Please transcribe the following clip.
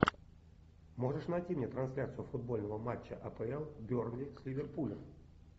можешь найти мне трансляцию футбольного матча апл бернли с ливерпулем